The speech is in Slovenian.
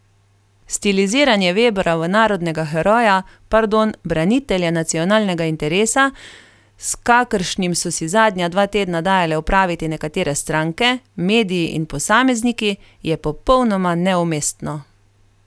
Stiliziranje Vebra v narodnega heroja, pardon, branitelja nacionalnega interesa, s kakršnim so si zadnja dva tedna dajale opraviti nekatere stranke, mediji in posamezniki, je popolnoma neumestno.